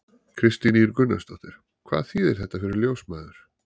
Kristín Ýr Gunnarsdóttir: Hvað þýðir þetta fyrir ljósmæður?